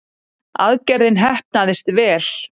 Aðgerðin heppnaðist vel